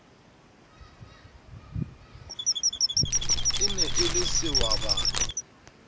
e ne e le sehwabana